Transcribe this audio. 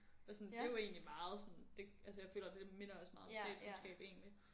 Og sådan det jo egentlig meget sådan det jeg føler det minder også meget om statskundskab egentlig